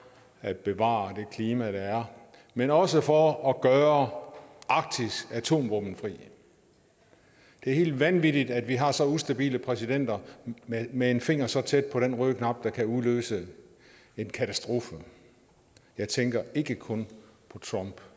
at bevare det klima der er men også for at gøre arktis atomvåbenfrit det er helt vanvittigt at vi har så ustabile præsidenter med med en finger så tæt på den røde knap der kan udløse en katastrofe jeg tænker ikke kun på trump